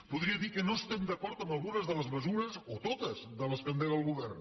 podria dir que no estem d’acord amb algunes de les mesures o totes que endega el govern